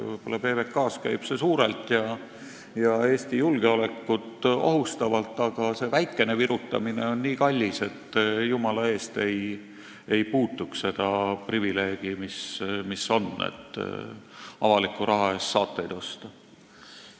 Võib-olla PBK-s käib see suurelt ja Eesti julgeolekut ohustavalt, aga see väikene virutamine on nii kallis, et jumala eest ei tohi puutuda seda privileegi, mis on – avaliku raha eest saateid osta.